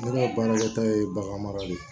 Ne ka baarakɛta ye bagan mara de ye